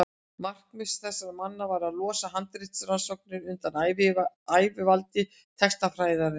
markmið þessara manna var að losa handritarannsóknir undan ægivaldi textafræðinnar